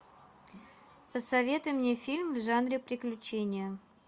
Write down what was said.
посоветуй мне фильм в жанре приключения